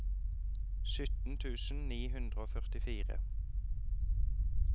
sytten tusen ni hundre og førtifire